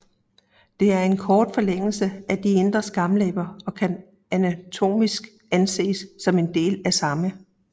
Det er en kort forlængelse af de indre skamlæber og kan anatomisk anses som en del af samme